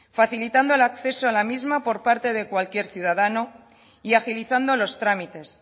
facilitando el acceso a la misma por parte de cualquier ciudadano y agilizando los trámites